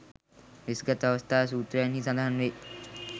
වෙස්ගත් අවස්ථා සූත්‍රයන්හි සඳහන් වේ.